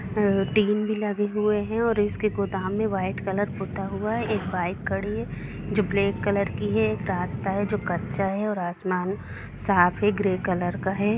Tin भी लगे हुए है और इसके गोदाम मे व्हाइट कलर पूता हुआ हैएक बाइक खड़ी है जो ब्लैक कलर की है एक रास्ता हैजो कच्चा हैऔर आसमान साफ हैग्रे कलर का है।